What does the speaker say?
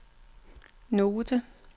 note